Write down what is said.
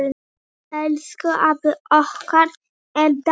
Elsku afi okkar er dáinn.